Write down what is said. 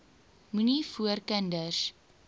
moenie voor kinders